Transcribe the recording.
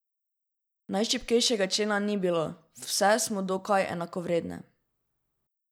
Najšibkejšega člena ni bilo, vse smo dokaj enakovredne.